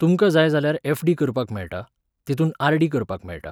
तुमकां जाय जाल्यार एफडी करपाक मेळटा, तितूंत आरडी करपाक मेळटा